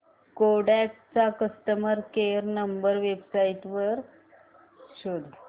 Kodak चा customer care number website वर शोध